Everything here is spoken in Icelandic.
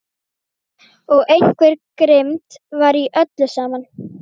Og einhver grimmd var í öllu saman.